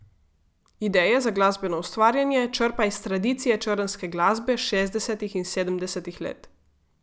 Ideje za glasbeno ustvarjanje črpa iz tradicije črnske glasbe šestdesetih in sedemdesetih let.